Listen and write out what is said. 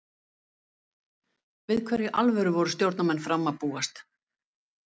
Við hverju í alvöru voru stjórnarmenn Fram að búast?